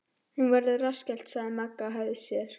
Hún verður rassskellt Magga hægði á sér.